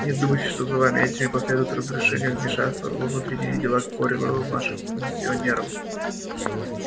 не думайте что за нами этими последует разрешение вмешаться во внутренние дела корела вашим миссионерам